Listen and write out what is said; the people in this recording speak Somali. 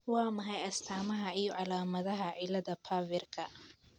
Waa maxay astamaha iyo calaamadaha cilada PHAVERka